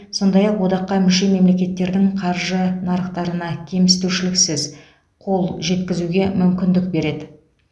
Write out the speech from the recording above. сондай ақ одаққа мүше мемлекеттердің қаржы нарықтарына кемсітушіліксіз қол жеткізуге мүмкіндік береді